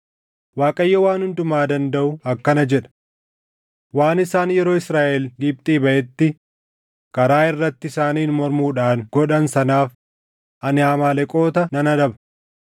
Waaqayyo Waan Hundumaa Dandaʼu akkana jedha: ‘Waan isaan yeroo Israaʼel Gibxii baʼetti karaa irratti isaaniin mormuudhaan godhan sanaaf ani Amaaleqoota nan adaba.